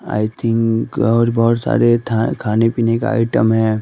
आइ think और बोहोत सारे था खाने पीने का आइटम